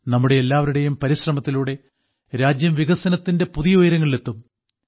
നമ്മുടെ എല്ലാവരുടെയും പരിശ്രമത്തിലൂടെ രാജ്യം വികസനത്തിന്റെ പുതിയ ഉയരങ്ങളിലെത്തും